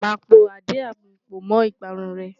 Màá po àdí-àgbon pọ̀ mọ́ ìparun rẹ.